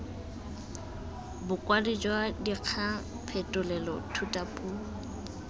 bokwadi jwa dikgang phetolelo thutapuo